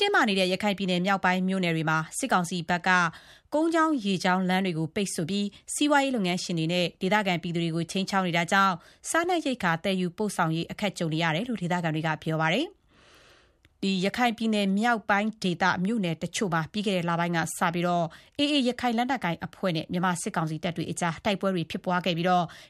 တင်းမာနေတဲ့ ရခိုင်ပြည်နယ်မြောက်ပိုင်းမြို့နယ်တွေမှာ စစ်ကောင်စီတပ်ဘက်က ကုန်းကြောင်း ရေကြောင်း လမ်းတွေပိတ်ဆို့ပြီး စီးပွားရေးလုပ်ငန်းရှင်တွေနဲ့ ဒေသခံပြည်သူတွေကို ခြိမ်းခြောက်နေတာကြောင့် စားနပ်ရိက္ခာသယ်ယူပို့ဆောင်ရေးမှာပါ အခက်ကြုံနေရတယ်လို့ ဒေသခံတွေက ပြောပါတယ်။ ရခိုင်မြောက်ပိုင်းဒေသ မြို့နယ်တချို့မှာ ပြီးခဲ့တဲ့လပိုင်းကစလို့ AA ရခိုင်လက်နက်ကိုင်အဖွဲ့နဲ့ မြန်မာစစ်ကောင်စီတပ်တွေကြား တိုက်ပွဲတွေ ဖြစ်ပွားခဲ့ပြီး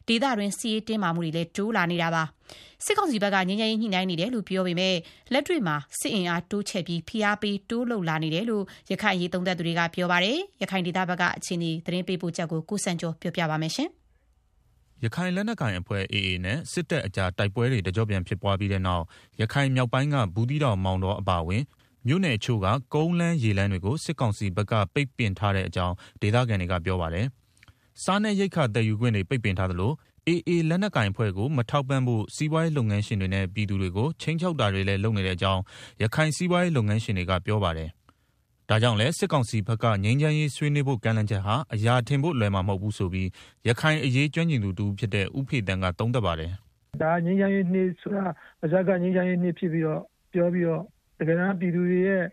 ဒေသတွင်း စစ်ရေးတင်းမာမှုတွေ တိုးလာတာပါ။ စစ်ကောင်စီဘက်က ငြိမ်းချမ်းရေး ညှိနှိုင်းနေတယ်လို့ ပြောပေမယ့် လက်တွေ့မှာ စစ်အင်အားတိုးချဲ့ပြီး ဖိအားပေးတွေ တိုးလုပ်လာနေတယ်လို့ ရခိုင်အရေး သုံးသပ်သူတွေက ပြောပါတယ်။ ရခိုင်ဒေသအခြေအနေ သတင်းပေးပို့ချက်ကို ကိုစံကျော် တင်ပြပေးထားပါတယ်။ ရခိုင်လက်နက်ကိုင်အဖွဲ့ AA နဲ့ စစ်တပ်ကြား တိုက်ပွဲတွေ တကြော့ပြန်ဖြစ်ပွားပြီးတဲ့နောက် ရခိုင်မြောက်ပိုင်းက ဘူးသီးတောင်၊ မောင်တောအပါအဝင် မြို့နယ်တချို့ကို ကုန်းလမ်းရေလမ်း တွေကို စစ်ကောင်စီဘက်က ပိတ်ပင်ထားတဲ့အကြောင်း ဒေသခံတွေက ပြောပါတယ်။ စားနပ်ရိက္ခာသယ်ယူခွင့်တွေ ပိတ်ပင်ထားသလို AA လက်နက်ကိုင်အဖွဲ့ကို မထောက်ပံ့ဖို့ စီးပွားရေးလုပ်ငန်းရှင်တွေနဲ့ ပြည်သူတွေကို ခြိမ်းခြောက်တာတွေလည်း လုပ်နေတဲ့အကြောင်း ရခိုင်စီးပွားရေးလုပ်ငန်းရှင်တွေက ပြောပါတယ်။ ဒါကြောင့်လည်း စစ်ကောင်စီဘက်က ငြိမ်းချမ်းရေး ဆွေးနွေးဖို့ ကမ်းလှမ်းချက်ဟာ အရာထင်ဖို့ လွယ်မှာ မဟုတ်ဘူးဆိုပြီး ရခိုင်အရေး ကျွမ်းကျင်သူ တဦးဖြစ်တဲ့ ဦးဖေသန်းက သုံးသပ်ပါတယ်။ “ ငြိမ်းချမ်းရေးနှစ်ဆိုတာ ပါးစပ် ငြိမ်းချမ်းရေးနှစ်ဖြစ်ပြီးတော့ တကယ်တမ်းပြည်သူ တွေရဲ့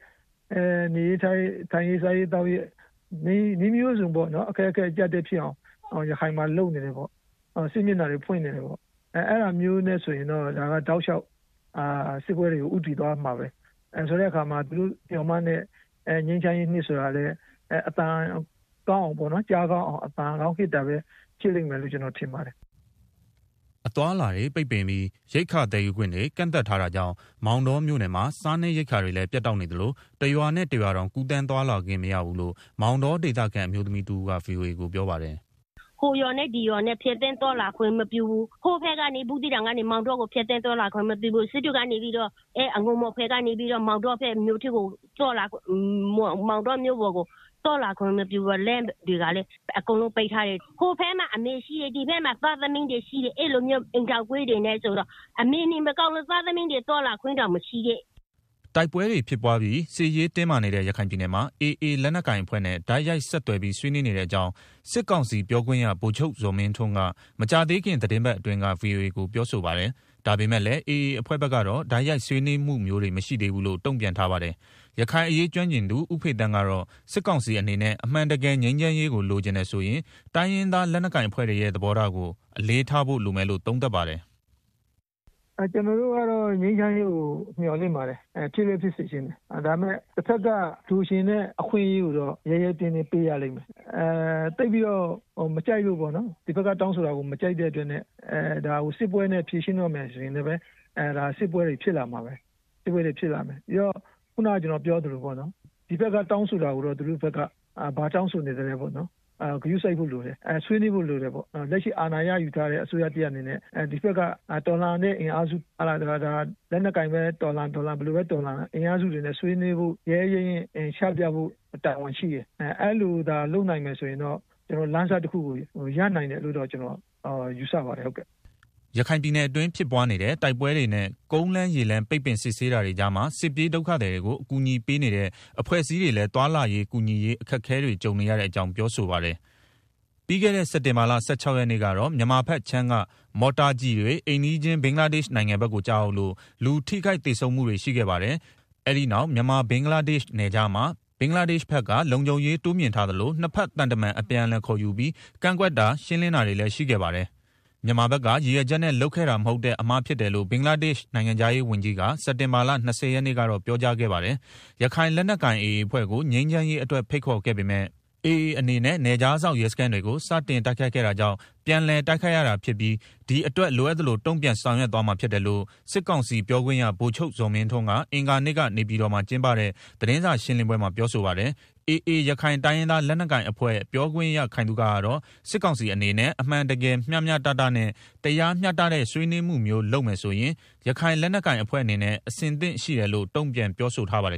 နေရေးထိုင်ရေး၊ စားရေးသောက်ရေး နည်းမျိုးစုံနဲ့ အခက်အခဲ အကျပ်အတည်းဖြစ်အောင် ရခိုင်မှာလုပ်နေတယ်ပေါ့။ စစ်မျက်နှာတွေ ဖွင့်နေတယ်ပေါ့၊ အဲဒါမျိုးနဲ့ ဆိုရင်တော့ ဒါက တောက်လျှောက် စစ်ပွဲတွေကို ဦးတည်သွားမှာပဲ ဆိုတော့ သူတို့မျှော်မှန်းတဲ့ ငြိမ်းချမ်းရေးနှစ်ဆိုတာလည်း လူကြားကောင်းအောင် အသံကောင်းဟစ်တာလို့ပဲ ကျနော်ပြောချင်ပါတယ်။” အသွားအလာတွေ ပိတ်ပင်ပြီး ရိက္ခာသယ်ယူခွင့်တွေ ကန့်သတ် ထားတာကြောင့် မောင်တောမြို့နယ်မှာ စားနပ်ရိက္ခာတွေလည်း ပြတ်တောက်နေသလို တရွာနဲ့ တရွာတောင် ကူးသန်းသွားလာခွင့်မရဘူးလို့ မောင်တောဒေသခံ အမျိုသမီးတဦးက VOA ကို ပြောပါ တယ်။ "လမ်းတွေကလည်း ဟိုရွာနဲ့ ဒီရွာသွားလာခွင့်တောင်မပေးတော့ဘူး၊ အငူမော်ဘက်က နေပြီးတော့ မောင်တောမြို့ပေါ်ကိုလည်း သွားလာခွင့်မပြုဘူး။ လမ်းတွေကလည်း အကုန် လုံးပိတ်ထားတယ်၊ အမေနဲ့သား တယောက်တရွာ ရောက်နေတော့ အမေနေမကောင်းတာတောင် သားလာကြည့်လို့မရဘူး။ အဲလိုဖြစ်နေတယ်။” တိုက်ပွဲတွေဖြစ်ပွားပြီး စစ်ရေးတင်းမာနေတဲ့ ရခိုင်ပြည်နယ်မှာ AA လက်နက်ကိုင်အဖွဲ့နဲ့ တိုက်ရိုက် ဆက်သွယ်ပြီး ဆွေးနွေးနေတဲ့အကြောင်း စစ်ကောင်စီပြောခွင့်ရ ဗိုလ်ချုပ်ဇော်မင်းထွန်းက မကြာသေးခင် သီတင်းပတ်အတွင်းက VOA ကို ပြောဆိုပါတယ်။ ဒါပေမဲ့လည်း AA အဖွဲ့ဘက်ကတော့ တိုက်ရိုက်ဆွေးနွေးမှုတွေ မရှိသေးဘူးလို့ တုံ့ပြန်ထားပါတယ်။ ရခိုင်အရေး ကျွမ်းကျင်သူ ဦးဖေသန်းကတော့ စစ်ကောင်စီအနေနဲ့ အမှန်တကယ်ငြိမ်းချမ်းရေးလိုချင်တယ်ဆိုရင် တိုင်းရင်းသားလက် နက်ကိုင်အဖွဲ့တွေရဲ့ သဘောထားကို အလေးထားဖို့ လိုမယ်လို့ သုံးသပ်ပါတယ်။ “ကျနော်တို့ကတော့ ငြိမ်းချမ်းရေးကို မျှော်လင့်ပါတယ်။ ဖြစ်လည်းဖြစ်စေချင်တယ်၊ ဒါပေမယ့် တဘက်က လိုချင်တဲ့အခွင့်အရေးကိုတော့ ရဲရဲတင်းတင်းပေးရလိမ့်မယ်။ ဒီဘက်က တောင်းဆိုတာကို သိပ်ပြီးတော့မကြိုက်တဲ့အတွက် စစ်ပွဲနဲ့ ဖြေရှင်းတော့မယ်ဆိုရင်လည်း စစ်ပွဲတွေ ဖြစ်လာမှာပဲ။ ဆိုတော့ ဒီဘက်ကတောင်းဆိုတာကိုတော့ ဘာတောင်းဆိုနေသလဲဆိုတာကိုတော့ ဂရုစိုက်ဖို့လိုတယ်။ ဆွေးနွေးဖို့လိုတယ်။ လက်ရှိအာဏာရယူထားတဲ့ အစိုးရတရပ်အနေနဲ့ ဒီဘက်က တော်လှန်ရေးတွေနဲ့ ဆွေးနွေးဖို့ ရဲရဲရင့်ရင့်ချပြဖို့ တာဝန်ရှိတယ်။ အဲလိုသာလုပ်နိုင်ခဲ့ရင်တော့ငြိမ်းချမ်းရေး လမ်းစတခုကို ရနိုင်တယ်လို့ ယူဆပါတယ်။” ရခိုင်ပြည်နယ်အတွင်း ဖြစ်ပွားနေတဲ့ တိုက်ပွဲတွေနဲ့ ကုန်းလမ်းရေလမ်း ပိတ်ပင်စစ်ဆေးတာတွေကြားမှာ စစ်ပြေးဒုက္ခသည်တွေကို အကူအညီပေးနေတဲ့ အဖွဲ့ အစည်းတွေလည်း သွားလာရေး ကူညီရေး အခက်အခဲတွေ ကြုံနေရတဲ့အကြောင်း ပြောဆိုပါတယ်။ ပြီးခဲ့တဲ့ စက်တင်ဘာလ ၁၆ ရက်နေ့ကတော့ မြန်မာဘက်ခြမ်းက မော်တာကျည်တွေ အိမ်နီးချင်း ဘင်္ဂလားဒေ့ရှ်နိုင်ငံဖက်ကို ကျရောက်လို့၊ လူထိခိုက်သေဆုံးမှုတွေရှိခဲ့ပါတယ်။ အဲဒီနောက် မြန်မာ-ဘင်္ဂလားဒေ့ရ်ှနယ်ခြားမှာ ဘင်္ဂလားဒေ့ရ်ှဖက်က လုံခြုံရေးတိုးမြှင့်ထားသလို၊ နှစ်ဖက် သံတမန်အပြန်အလှန်ခေါ်ယူပြီး ကန့်ကွက်တာ ရှင်းလင်းတာတွေရှိခဲ့ပါတယ်။ မြန်မာဘက်က ရည်ရွယ်ချက်နဲ့ လုပ်ခဲ့တာ မဟုတ်တဲ့ အမှားဖြစ်လို့ ဘင်္ဂလားဒေရှ့်နိုင်ငံခြားရေးဝန်ကြီးက စက်တင်ဘာ ၂၀ ရက်နေ့ကတော့ ပြောကြားခဲ့ပါတယ်။ ရခိုင်လက်နက်ကိုင် AA အဖွဲ့ကို ငြိမ်းချမ်းရေးအတွက်ဖိတ်ခေါ်ခဲ့ပေမယ့် AA အနေနဲ့ နယ်ခြားစောင့် ရဲစခန်းတွေကိုစတင်တိုက်ခိုက်ခဲ့တာကြောင့် ပြန်လည် တိုက်ခိုက် ရတာဖြစ်ပြီး ဒီအတွက်လိုအပ်သလို တုံ့ပြန်ဆောင်ရွက်သွားမှာဖြစ်တယ်လို့ စစ်ကောင်စီပြောခွင့်ရ ဗိုလ်ချုပ်ဇော်မင်းထွန်းက အဂါၤနေ့က နေပြည်တော်မှာ ကျင်းပတဲ့ သတင်းစာရှင်းလင်းပွဲမှာ ပြောပါတယ်။ AA ရခိုင်တိုင်းရင်းသား လက်နက်ကိုင် အဖွဲ့ပြောခွင့်ရ ခိုင်သုခကတော့ စစ်ကောင်စီအနေနဲ့ အမှန်တကယ်မျှမျှတတနဲ့ တရားမျှတတဲ့ ဆွေးနွေးမှုမျိုးလုပ်မယ်ဆိုရင် ရခိုင်လက်နက်ကိုင်အဖွဲ့အနေနဲ့ အဆင်သင့်ရှိတယ် လို့ တုံ့ပြန် ပြောဆိုထားပါတယ်